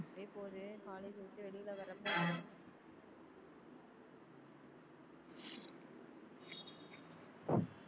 அப்படியே போது college விட்டு வெளியில வர அப்ப